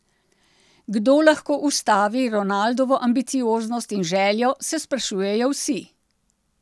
Kdo lahko ustavi Ronaldovo ambicioznost in željo, se sprašujejo vsi.